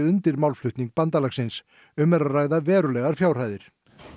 undir málflutning bandalagsins um er að ræða verulegar fjárhæðir